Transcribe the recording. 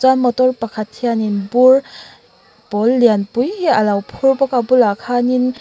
chuan motor pakhat hianin bur pawl lianpui hi alo phur bawk a a bulah khanin--